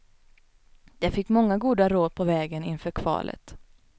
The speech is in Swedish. De fick många goda råd på vägen inför kvalet.